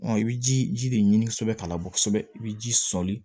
i bɛ ji ji de ɲini kosɛbɛ k'a bɔ kosɛbɛ i bɛ ji sɔli